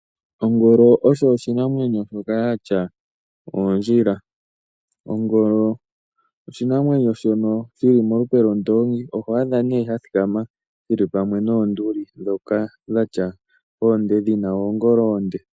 Ongolo osho oshinamwenyo shoka shina oondjila. Ongolo oshinamwenyo shono shili molupe lwondongi oho adha sha thikama shili pamwe noonduli ndhoka dhatya oongolo oonde.